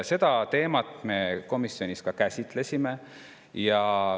Seda teemat me komisjonis ka käsitlesime.